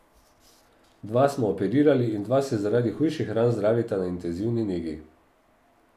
Dva smo operirali in dva se zaradi hujših ran zdravita na intenzivni negi.